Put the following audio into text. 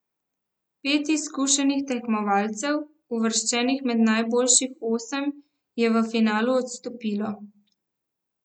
Pet izkušenih tekmovalcev, uvrščenih med najboljših osem, je v finalu odstopilo.